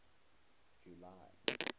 july